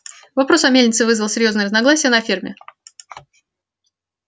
вопрос о мельнице вызвал серьёзные разногласия на ферме